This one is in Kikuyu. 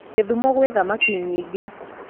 Githumo gwĩ thamaki nyingĩ